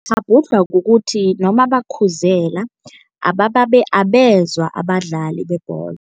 Ngikghabhudlhwa kukuthi noma bakhuzela, abezwa abadlali bebholo.